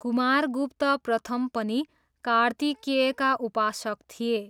कुमारगुप्त प्रथम पनि कार्तिकेयका उपासक थिए।